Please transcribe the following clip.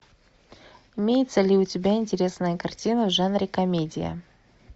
имеется ли у тебя интересная картина в жанре комедия